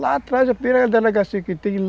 Lá atrás é a primeira delegacia que tem.